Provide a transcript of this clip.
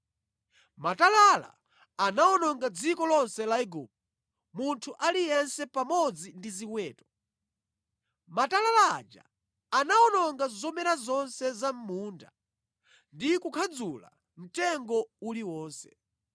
Matalala anawononga dziko lonse la Igupto, munthu aliyense pamodzi ndi ziweto. Matalala aja anawononga zomera zonse za mʼmunda ndi kukhadzula mtengo uliwonse.